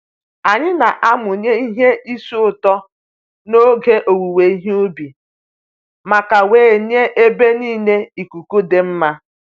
Anyï na-amụnye ihe isi ụtọ n'oge owuwe ihe ubi maka wee nye ebe niile ikuku dị mma